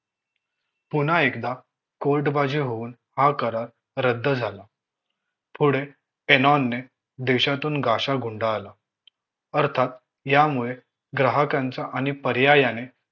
पुन्हा एकदा court बाजी होऊन हा करार रद्द झाला पुढे एनॉनने देशातून गाशा गुंडाळला अर्थात यामुळे ग्राहकांचा आणि पर्यायाने